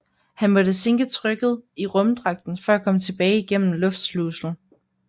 Han måtte sænke trykket i rumdragten for at komme tilbage igennem luftslusen